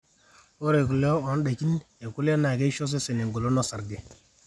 ore kule ondaikin ekule naa keisho osesen engolon orsage